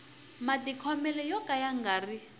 matikhomele yo ka ya nga